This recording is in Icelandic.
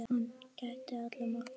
Hann gæddi alla morgna lífi.